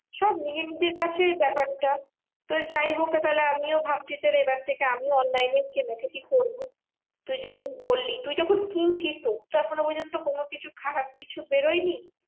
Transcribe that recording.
সব নিজেনিজের কাছে ব্যাপারটা। তো যাইহোক তাহলে আমিও ভাবছি তাহলে এবার থেকে আমিও online এ কেনাকাটি করবো। তুই যখন বললি তুই যখন কিনছিস তো তোর তো এখনো পর্যন্ত কোনো কিছু খারাপ কিছু বেরোয়নি।